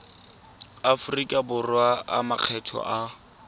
aforika borwa a makgetho a